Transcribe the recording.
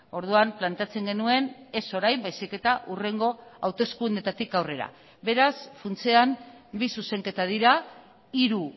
orduan planteatzen genuen ez orain baizik eta hurrengo hauteskundeetatik aurrera beraz funtsean bi zuzenketa dira hiru